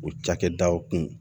O cakɛdaw kun